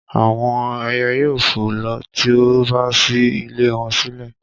àwọn ẹyẹ yóò fò lọ ti o bá ṣí ilé wọn sílẹ̀